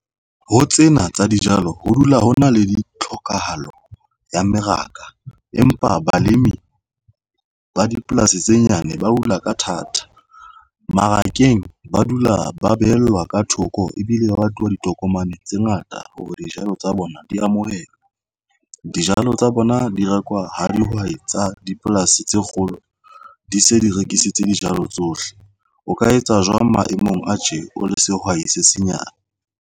Ho tsena tsa dijalo ho dula ho na le di tlhokahalo ya mmeraka empa balemi ba dipolasi tse nyane ba hula ka thata mmarakeng ba dula ba behellwa ka thoko ebile ba tluwa ditoro. Tokomane tse ngata hore dijalo tsa bona di amohela dijalo tsa bona di rekwa ha dihwai tsa dipolasi tse kgolo di se di rekisitse dijalo tsohle. O Ka etsa jwang maemong a tje o le sehwai se senyane?